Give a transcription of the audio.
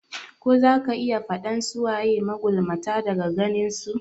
Ko zaka iya faɗan su waye magulmata daga ganin su?